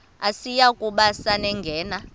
asiyi kuba sangena